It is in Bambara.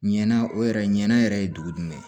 Ɲɛna o yɛrɛ ɲɛna yɛrɛ ye dugu in de ye